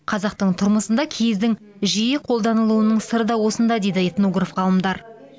қазақтың тұрмысында киіздің жиі қолданылуының сыры да осында дейді этнограф ғалымдар